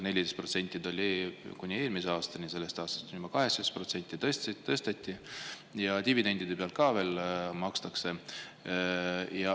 14% oli kuni eelmise aastani, sellest aastast on see juba 18%, seda tõsteti, ja dividendide pealt ka veel makstakse.